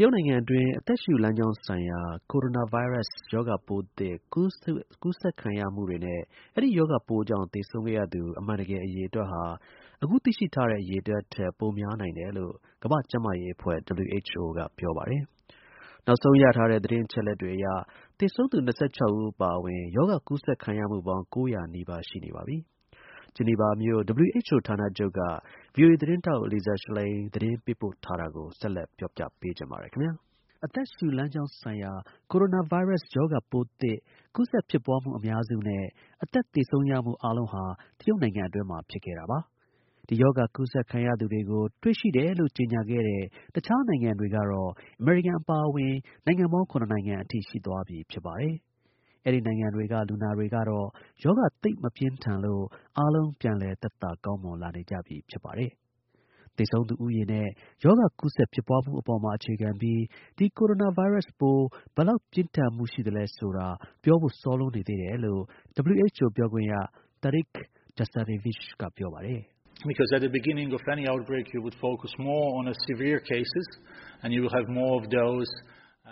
တရုတ်နိုင်ငံအတွင်း အသက်ရှုလမ်းကြောင်းဆိုင်ရာ coronavirus ရောဂါပိုးသစ် ကူးစက်ခံရမှုနဲ့ အဲဒီ ရောဂါပိုးကြောင့် သေဆုံးခဲ့ရသူ အမှန်တကယ် အရေအတွက်ဟာ အခုသိရှိထားတဲ့ အရေအတွက် ထက် ပိုများနိုင်တယ်လို့ ကမ္ဘာ့ကျန်းမာရေးအဖွဲ (WHO) က ပြောပါတယ်။ နောက်ဆုံး ရထားတဲ့ သတင်းအချက်အလက်တွေအရ သေဆုံးသူ ၂၆ ဦးအပါအဝင် ရောဂါကူးစက်ခံရမှုပေါင်း ၉၀၀ နီးပါး ရှိနေပါပြီ။ Geneva မြို့ WHO ဌာနချုပ်က ဗွီအိုအေ သတင်းထောက် Lisa Schlein သတင်းပေးပို့ထားတာကို ကိုရဲမင်းထွန်းက ပြောပြထားပါတယ်။ အသက်ရှုလမ်းကြောင်းဆိုင်ရာ coronavirus ရောဂါပိုးသစ် ကူးစက်ဖြစ်ပွားမှု အများစုနဲ့ အသက်သေဆုံးရမှု အားလုံး ဟာ တရုတ်နိုင်ငံ အတွင်းမှာ ဖြစ်ခဲ့တာပါ။ ဒီ ရောဂါ ကူးစက်ခံရသူတွေကို တွေ့ရှိတယ်လို့ ကြေညာခဲ့တဲ့ တခြားနိုင်ငံတွေကတော့ အမေရိကန် အပါအဝင် နိုင်ငံပေါင်း ၇ နိုင်ငံအထိ ရှိသွားပြီ ဖြစ်ပါတယ်။ အဲဒီ နိုင်ငံတွေက လူနာတွေကတော့ ရောဂါ သိပ် မပြင်းထန်လို့ အားလုံး ပြန်လည် သက်သာ ကောင်းမွန် လာနေကြပြီ ဖြစ်ပါတယ်။ သေဆုံးသူဦးရေနဲ့ ရောဂါ ကူးစက်ဖြစ်ပွားမှုတွေအပေါ်မှာ အခြေခံပြီး ဒီ coronavirus ပိုး ဘယ်လောက် ပြင်းထန်မှုရှိသလဲဆိုတာ ပြောဖို့ စောလွန်းနေသေးတယ်လို့ WHO ပြောခွင့်ရ Tarik Jasarevic က ပြောပါတယ်။ "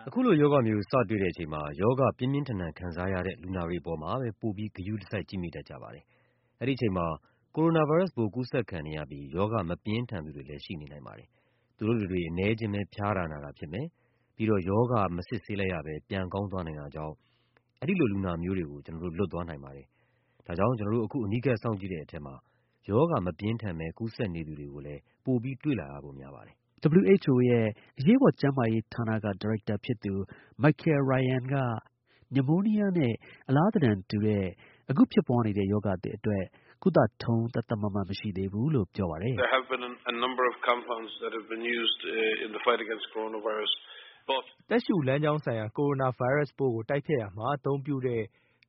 အခုလို ရောဂါမျိုး စတွေ့တဲ့အချိန်မှာ ရောဂါ ပြင်းပြင်းထန်ထန် ခံစားရတဲ့ လူနာတွေအပေါ်မှာပဲ ပိုပြီး ဂရုစိုက် ကြည့်မိတတ်ကြတယ်။ အဲဒီ အချိန်မှာ coronavirus ပိုး ကူးစက်ခံနေရပြီး ရောဂါ မပြင်းထန်သူတွေလည်း ရှိနေနိုင်တယ်။ သူတို့တတွေ အနည်းအကျဉ်းပဲ ဖျားတာ နာတာ ဖြစ်မယ်။ ပြီးတော့ ရောဂါမစစ်ဆေးလိုက်ရဘဲ ပြန်ကောင်းသွားနိုင်တာကြောင့် အဲဒီလို လူနာမျိုးတွေကို ကျွန်တော်တို့ လွတ်သွားနိုင်တယ်လေ။ ဒါကြောင့် ကျွန်တော်တို့ အခု အနီးကပ် စောင့်ကြည့်တဲ့အခါမှာ ရောဂါ မပြင်းထန်ဘဲ ကူးစက်နေသူတွေကိုလည်း ပိုပြီး တွေ့လာဖို့ များပါတယ်။" WHO အရေးပေါ် ကျန်းမာရေး ဌာနက ဒါရိုက်တာဖြစ်သူ Michael Ryan က pneumonia နမိုးနီးယားနဲ့ အလားသဏ္ဌာန်တူတဲ့ အခု ဖြစ်ပွားနေတဲ့ ရောဂါသစ်အတွက် ကုထုံး သတ်သတ်မှတ်မှတ် မရှိသေးဘူးလို့ ပြောပါတယ်။ "အသက်ရှုလမ်းကြောင်းဆိုင်ရာ coronavirus ပိုးကို တိုက်ဖျက်ရာမှာ အသုံးပြုတဲ့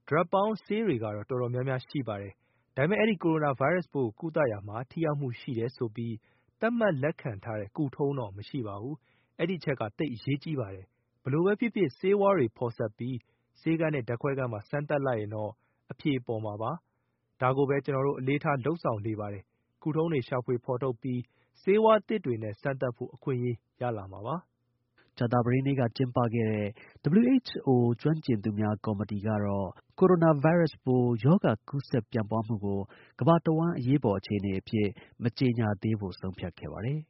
ဓာတ်ပေါင်း ဆေးတွေကတော့ တော်တော်များများ ရှိပါတယ်။ ဒါပေမဲ့ အဲဒီ coronavirus ပိုးကို ကုသရာမှာ ထိရောက်မှုရှိတယ်ဆိုပြီး သတ်မှတ်လက်ခံထားတဲ့ ကုထုံးတော့ မရှိဘူး။ အဲဒီ အချက်က သိပ် အရေးကြီးတယ်။ ဘယ်လိုပဲ ဖြစ်ဖြစ် ဆေးဝါးတွေ ဖော်စပ်ပြီး ဆေးခန်းနဲ့ ဓာတ်ခွဲခန်းမှာ စမ်းသပ်လိုက်ရင်တော့ အဖြေပေါ်မှာပါပဲ။ ဒါကိုပဲ ကျွန်တော်တို့ အလေးပေး လုပ်ဆောင်နေပါတယ်။ ကုထုံးတွေကို ရှာဖွေ ဖော်ထုတ်ပြီး ဆေးဝါးသစ်တွေနဲ့ စမ်းသပ်ဖို့ အခွင့်အရေး ရလာမှာပါ။" ကြာသပတေးနေ့က ကျင်းပခဲ့တဲ့ WHO ကျွမ်းကျင်သူများ ကော်မတီကတော့ coronavirus ပိုးကူးစက်ပြန့်ပွားမှုကို ကမ္ဘာတစ်ဝန်း အရေးပေါ် အခြေအနေအဖြစ် မကြေညာသေးဖို့ ဆုံးဖြတ်ခဲ့ပါတယ်။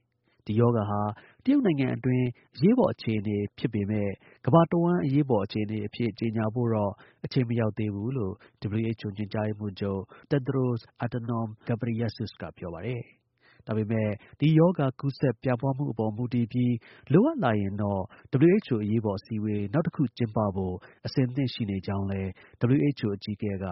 ဒီ ရောဂါဟာ တရုတ်နိုင်ငံအတွင်း အရေးပေါ် အခြေအနေဖြစ်ပေမဲ့ ကမ္ဘာ တဝှမ်း အရေးပေါ် အခြေအနေအဖြစ် ကြေညာဖို့တော့ အချိန်မရောက်သေးဘူးလို့ WHO ညွှန်ကြားရေးမှူးချုပ် Tedros Adhanom Ghebreyesus ကပြောပါတယ်။ ဒါပေမဲ့ ဒီ ရောဂါ ကူးစက် ပြန့်ပွားမှုအပေါ် မူတည်ပြီး လိုအပ်လာရင်တော့ WHO အရေးပေါ် အစည်းအဝေး နောက်ထပ်တခု ကျင်းပဖို့ အဆင့်သင့် ရှိနေကြောင်း WHO အကြီးအကဲက